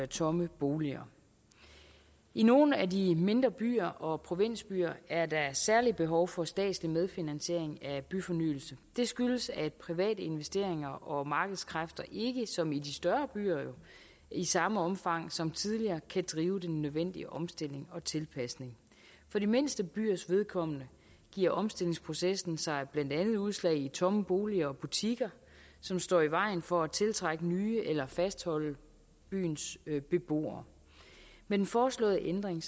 tomme boliger i nogle af de mindre byer og provinsbyer er der særlige behov for statslig medfinansiering af byfornyelse det skyldes at private investeringer og markedskræfter ikke som i de større byer i samme omfang som tidligere kan drive den nødvendige omstilling og tilpasning for de mindste byers vedkommende giver omstillingsprocessen sig blandt andet udslag i tomme boliger og butikker som står i vejen for at tiltrække nye eller fastholde byens beboere med den foreslåede ændring